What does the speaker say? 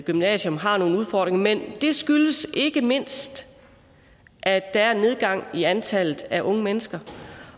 gymnasium har nogle udfordringer men det skyldes ikke mindst at der er en nedgang i antallet af unge mennesker